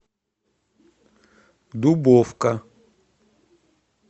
дубовка